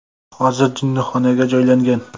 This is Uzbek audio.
Hozir jinnixonaga joylangan .